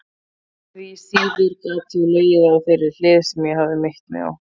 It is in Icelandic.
Því síður gat ég legið á þeirri hlið sem ég hafði meitt mig á.